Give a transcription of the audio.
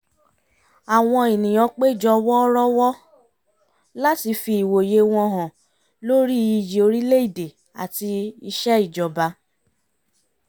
àwọn ènìyàn péjọ wọ́rọ́wọ́ láti fi ìwòye wọn hàn lórí iyì orílẹ̀ èdè áti iṣẹ́ ìjọba